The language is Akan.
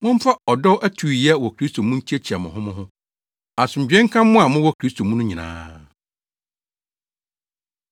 Momfa ɔdɔ atuuyɛ wɔ Kristo mu nkyiakyia mo ho mo ho. Asomdwoe nka mo a mowɔ Kristo mu no nyinaa.